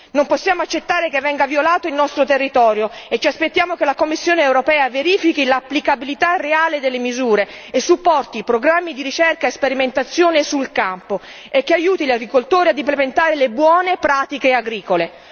Non possiamo accettare che venga violato il nostro territorio e ci aspettiamo che la Commissione europea verifichi l'applicabilità reale delle misure e supporti programmi di ricerca e sperimentazione sul campo e aiuti gli agricoltori a implementare le buone pratiche agricole.